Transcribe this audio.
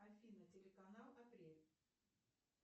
афина телеканал апрель